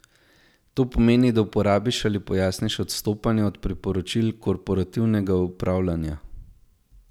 To pomeni, da uporabiš ali pojasniš odstopanja od priporočil korporativnega upravljanja.